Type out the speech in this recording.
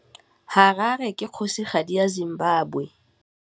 Harare ke kgosigadi ya Zimbabwe.